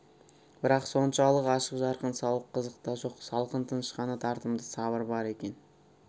бірақ соншалық ашық-жарқын сауық қызық та жоқ салқын тыныш қана тартымды сабыр бар екен